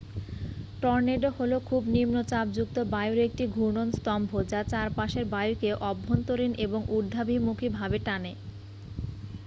tornado হলো খুব নিম্নচাপযুক্ত বায়ুর একটি ঘূর্ণন স্তম্ভ যা চারপাশের বায়ুকে অভ্যন্তরীণ এবং ঊর্ধ্বাভিমুখী ভাবে টানে